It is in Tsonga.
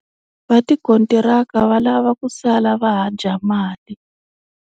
Va tikontiraka va lava ku sala va ha dya mali.